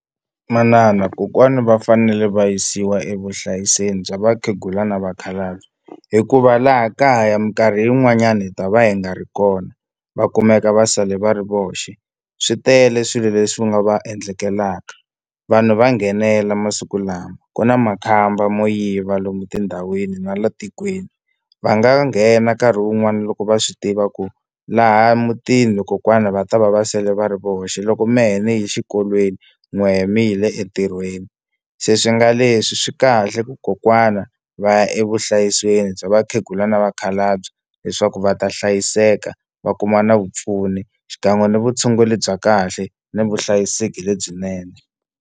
Manana kokwani va fanele va yisiwa evuhlayiseni bya vakhegula na vakhalabye hikuva laha kaya mikarhi yin'wanyani hi ta va hi nga ri kona va kumeka va sala va ri voxe swi tele swilo leswi va nga va endlekelaka vanhu va nghenela masiku lama ku na makhamba mo yiva lomu tindhawini na la tikweni va nga nghena nkarhi wun'wani loko va swi tiva ku laha mutini kokwani va ta va va sele va ri voxe loko mehe ni ye xikolweni n'wehe mi yile entirhweni se swi nga leswi swi kahle ku kokwana va ya evuhlayiseni bya vakhegula na vakhalabye leswaku va ta hlayiseka va kuma na vupfuni xikan'we ni vutshunguri bya kahle ni vuhlayiseki lebyinene.